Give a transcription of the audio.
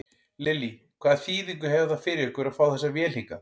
Lillý: Hvaða þýðingu hefur það fyrir ykkur að fá þessa vél hingað?